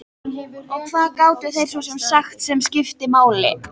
Og hvað gátu þeir svo sem sagt sem skipti máli.